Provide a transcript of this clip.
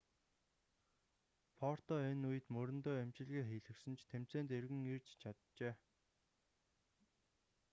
потро энэ үед мөрөндөө эмчилгээ хийлгэсэн ч тэмцээнд эргэн ирж чаджээ